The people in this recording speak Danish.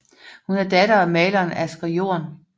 Hun er datter af maleren Asger Jorn